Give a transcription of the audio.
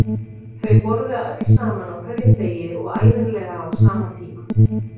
Þau borða öll saman á hverjum degi og ævinlega á sama tíma.